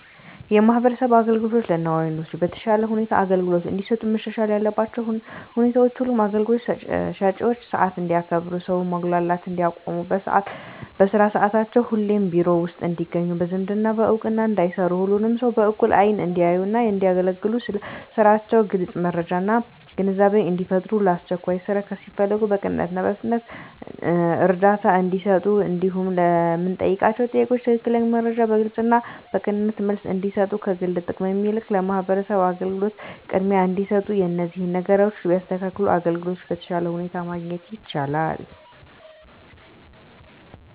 የማህበረሰብ አገልግሎቶች ለነዋሪዎች በተሻለ ሁኔታ አገልግሎት እንዲሰጡ መሻሻል ያለባቸው ሁኔታዎች ሁሉም አገልግሎት ሰጭዎች ሰዓት እንዲያከብሩ ሰውን ማጉላላት እንዲያቆሙ በስራ ሰዓታቸው ሁሌም ቢሮ ውስጥ እንዲገኙ በዝምድና በእውቅና እንዳይሰሩ ሁሉንም ሰው በእኩል አይን እንዲያዩና እንዲያገለግሉ ስለ ስራቸው ግልጽ መረጃና ግንዛቤን እንዲፈጥሩ ለአስቸኳይ ስራ ሲፈለጉ በቅንነትና በፍጥነት እርዳታ እንዲሰጡ እንዲሁም ለምንጠይቃቸው ጥያቄ ትክክለኛ መረጃ በግልጽና በቅንነት መልስ እንዲሰጡ ከግል ጥቅም ይልቅ ለማህበረሰቡ አገልግሎት ቅድሚያ እንዲሰጡ እነዚህን ነገሮች ቢያስተካክሉ አገልግሎት በተሻለ ሁኔታ ማግኘት ይቻላል።